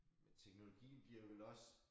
Men teknologien giver vel også